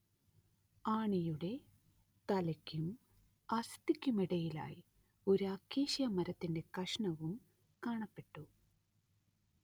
ആണിയുടെ തലയ്ക്കും അസ്ഥിക്കുമിടയിലായി ഒരു അക്കേഷ്യ മരത്തിന്റെ കഷണവും കാണപ്പെട്ടു